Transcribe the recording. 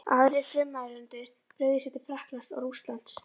Aðrir frummælendur brugðu sér til Frakklands og Rússlands.